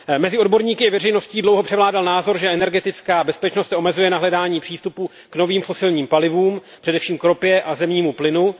Mezi odborníky i veřejností dlouho převládal názor, že energetická bezpečnost se omezuje na hledání přístupu k novým fosilním palivům, především k ropě a zemnímu plynu.